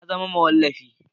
Na zama mawallafi